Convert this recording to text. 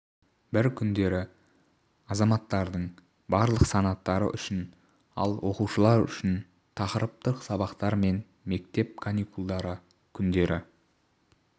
бір күндері азаматтардың барлық санаттары үшін ал оқушылар үшін тақырыптық сабақтар мен мектеп каникулдары күндері